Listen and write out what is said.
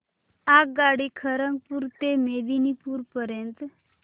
आगगाडी खरगपुर ते मेदिनीपुर पर्यंत